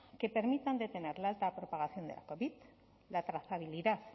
que permitan detener la alta propagación de la covid la trazabilidad